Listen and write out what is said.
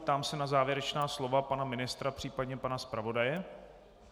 Ptám se na závěrečná slova pana ministra, případně pana zpravodaje.